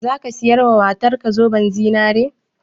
Zaka siya wa matar ka zoben zinare?